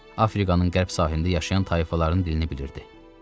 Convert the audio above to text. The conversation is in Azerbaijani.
Afrikanın qərb sahilində yaşayan tayfaların dilini bilirdi.